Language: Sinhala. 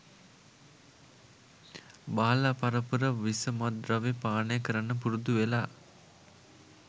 බාල පරපුර විස මත්ද්‍රව්‍ය පානය කරන්න පුරුදු වෙලා.